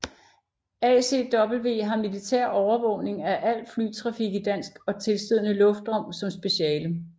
ACW har militær overvågning af al flytrafik i dansk og tilstødende luftrum som speciale